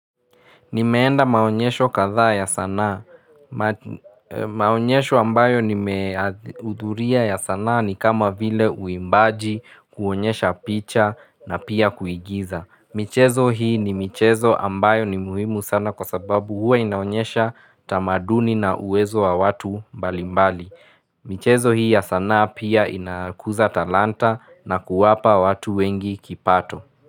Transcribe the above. Nimeenda maonyesho kadhaa ya sana. Maonyesho ambayo nimeudhuria ya sanaa ni kama vile uimbaji, kuonyesha picha na pia kuigiza. Michezo hii ni michezo ambayo ni muhimu sana kwa sababu huwa inaonyesha tamaduni na uwezo wa watu mbali mbali. Michezo hii ya sana pia inakuza talanta na kuwapa watu wengi kipato.